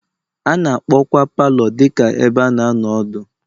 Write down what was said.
A na-akpọkwa palọ dị ka ebe a na-anọ ọdụ.